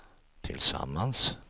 tillsammans